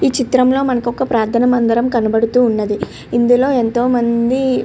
ఈ చిత్రం లో ప్రార్ధన మందిరం కనపడుతూ ఉంది ఇందులో ఎంతో మంది --